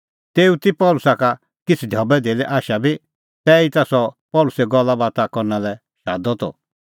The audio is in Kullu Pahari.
तेऊ ती पल़सी का किछ़ ढबैधेल्ले आशा बी तैहीता सह पल़सी गल्लाबाता करना लै शादा त